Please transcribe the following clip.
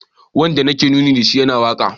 Wanda nake nuni da shi yana waka